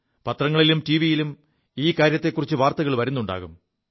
പത്രങ്ങളിലും ടിവിയിലും ഈ കാര്യത്തെക്കുറിച്ച് വാർത്തകൾ വരുുണ്ടാകും